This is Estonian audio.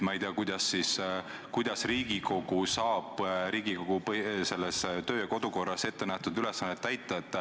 Ma ei tea, kuidas saab Riigikogu sellisel juhul kodu- ja töökorra seaduses ettenähtud ülesannet täita.